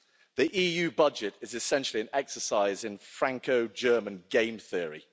The EU budget is essentially an exercise in Franco German game theory